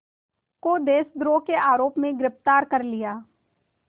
को देशद्रोह के आरोप में गिरफ़्तार कर लिया